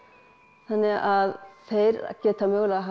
þannig að þeir geta mögulega hafa